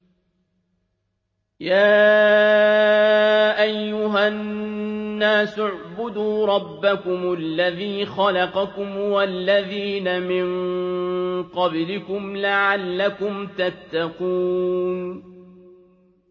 يَا أَيُّهَا النَّاسُ اعْبُدُوا رَبَّكُمُ الَّذِي خَلَقَكُمْ وَالَّذِينَ مِن قَبْلِكُمْ لَعَلَّكُمْ تَتَّقُونَ